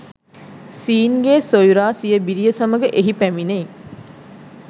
scene ගේ සොයුරා සිය බිරිය සමඟ එහි පැමිණෙයි